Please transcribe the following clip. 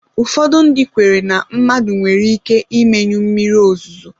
Ụfọdụ ndị kweere na mmadụ nwere ike imenyụ mmiri ozuzo